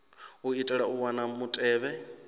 u itela u wana mutevhe